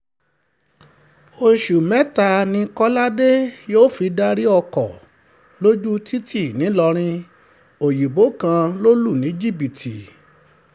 oṣù mẹ́ta ni kọ́ládé yóò fi darí ọkọ̀ lójú títì nìlọrin òyìnbó kan lọ lù ní jìbìtì